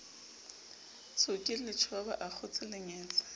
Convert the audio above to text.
tsoke letjhoba a akgotse lengetse